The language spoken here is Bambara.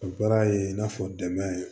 O baara ye i n'a fɔ dɛmɛ